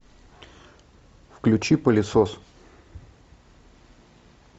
включи пылесос